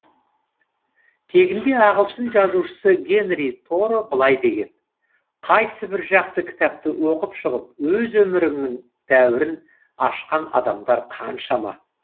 тегінде ағылшын жазушысы генри торо былай деген қайсы бір жақсы кітапты оқып шығып өз өміріңнің дәуірін ашқан адамдар қаншама